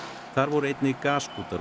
þar voru einnig gaskútar og